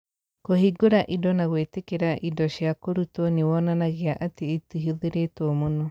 Kũhingũra indo na gwĩtĩkĩra indo cia kũrutwo nĩ wonanagia atĩ itihũthĩrĩtwo mũno.